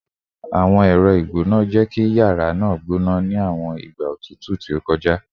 Awọn ẹrọ igbona jẹ ki yara naa gbona ni awọn igba otutu ti o kọja